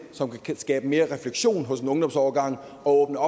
som kan skabe mere refleksion hos en ungdomsårgang og